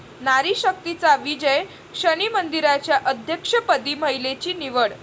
नारी शक्तीचा विजय, शनी मंदिराच्या अध्यक्षपदी महिलेची निवड